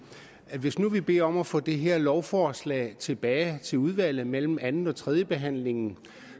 hvis vi nu beder om at få det her lovforslag tilbage til udvalget mellem anden og tredjebehandlingen